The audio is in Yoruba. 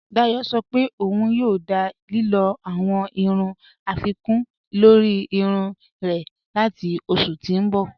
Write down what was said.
Dáyọ̀ sọ̀ pé ọun yòò dá lílò awọn irun afikun lórí irun rẹ̀ latí oṣù tí n bọ̀.